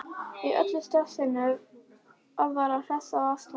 Í öllu stressinu að vera hress og afslappaður.